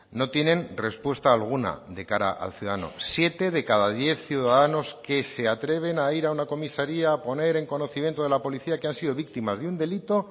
no tienen respuesta alguna de cara al ciudadano siete de cada diez ciudadanos que se atreven a ir a una comisaría a poner en conocimiento de la policía que han sido víctimas de un delito